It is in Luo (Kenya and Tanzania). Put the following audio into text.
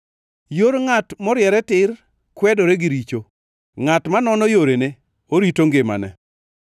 Yor ngʼat moriere tir kwedore gi richo; ngʼat manono yorene orito ngimane!